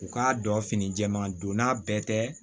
U k'a dɔn fini jɛɛman don n'a bɛɛ tɛ